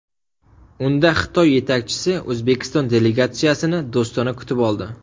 Unda Xitoy yetakchisi O‘zbekiston delegatsiyasini do‘stona kutib oldi.